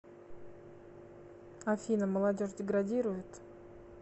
афина молодежь деградирует